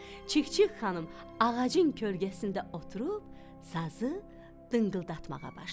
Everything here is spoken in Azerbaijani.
Çik-çik xanım ağacın kölgəsində oturub sazı dıngıldatmağa başladı.